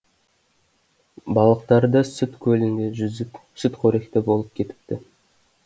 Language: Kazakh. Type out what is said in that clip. балықтары да сүт көлінде жүзіп сүтқоректі болып кетіпті